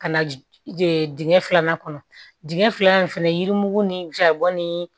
Ka na dingɛ filanan kɔnɔ dingɛ filanan in fɛnɛ yirimugu ni jaba ni